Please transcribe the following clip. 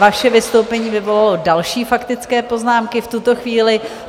Vaše vystoupení vyvolalo další faktické poznámky v tuto chvíli.